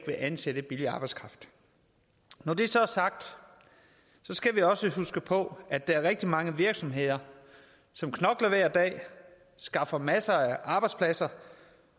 at ansætte billig arbejdskraft når det så er sagt skal vi også huske på at der er rigtig mange virksomheder som knokler hver dag skaffer masser af arbejdspladser